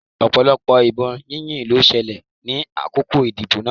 Ọ̀pọ̀lọpọ̀ ìbọn yíyìn ló ṣẹlẹ̀ ní àkókò ìdìbò náà.